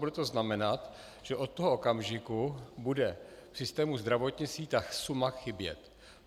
Bude to znamenat, že od toho okamžiku bude v systému zdravotnictví ta suma chybět.